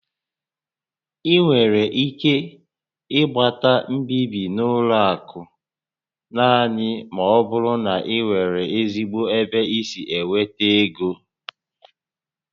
Ị nwere ike ịgbata mbibi n'ụlọ akụ naanị ma ọ bụrụ na ị nwere ezigbo ebe i si enweta égo